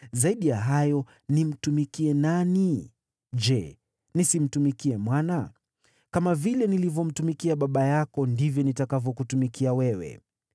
Zaidi ya hayo, nimtumikie nani? Je, nisimtumikie mwana? Kama vile nilivyomtumikia baba yako, ndivyo nitakavyokutumikia wewe.”